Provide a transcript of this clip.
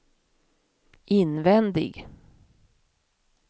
invändig